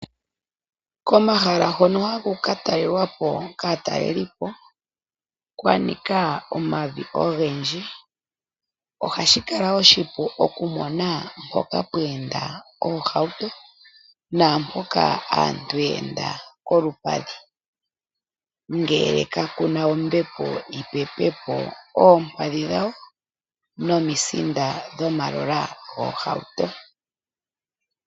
Komahala hono haku ka talelwa po kaa talelipo kwa nika omavi ogendji, ohashi kala oshipu okumona mpoka pwa enda oohauto naampoka aantu ya enda kolupadhi, ngele kaku na ombepo yi pepe po oompadhi dhawo nomisinda dhomagulu goohauto.